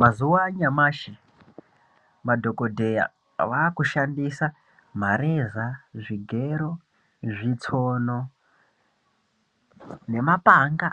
Mazuwa anyamashi madhokodheya vakushandisa mareza, zvigero, zvitsono nemapanga